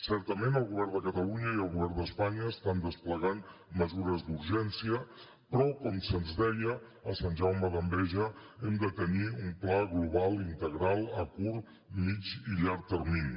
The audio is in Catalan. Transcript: certament el govern de catalunya i el govern d’espanya estan desplegant mesures d’urgència però com se’ns deia a sant jaume d’enveja hem de tenir un pla global integral a curt mitjà i llarg termini